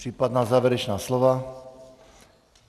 Případná závěrečná slova?